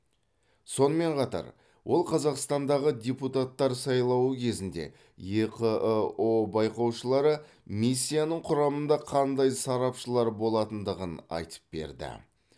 сонымен қатар ол қазақстандағы депутаттар сайлауы кезінде еқыұ байқаушылары миссиясының құрамында қандай сарапшылар болатындығын айтып берді